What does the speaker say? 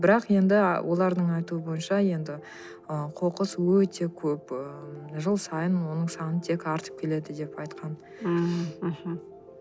бірақ енді а олардың айтуы бойынша енді ы қоқыс өте көп ыыы жыл сайын оның саны тек артып келеді деп айтқан ыыы мхм